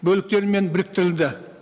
бөліктерімен біріктірілді